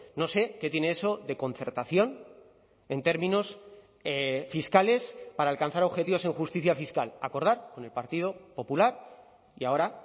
no sé qué tiene eso de concertación en términos fiscales para alcanzar objetivos en justicia fiscal acordar con el partido popular y ahora